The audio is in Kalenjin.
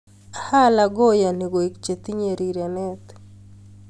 Ng'oyei Allah kayonii koek che tinyei rirenee.